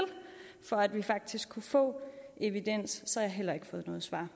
for at vi faktisk kunne få evidens så har jeg heller ikke fået noget svar